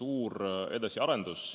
suur edasiarendus.